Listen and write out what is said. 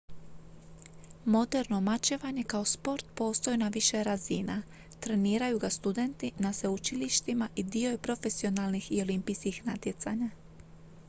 moderno mačevanje kao sport postoji na više razina treniraju ga studenti na sveučilištima i dio je profesionalnih i olimpijskih natjecanja